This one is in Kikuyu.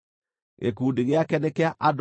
Gĩkundi gĩake nĩ kĩa andũ 54,400.